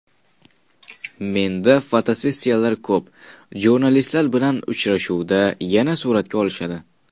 Menda fotosessiyalar ko‘p, jurnalistlar bilan uchrashuvda yana suratga olishadi.